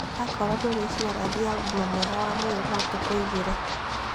Akorwo ndũrĩ icuarathi ya ũgima mwega wa mwĩrĩ no tũkũigire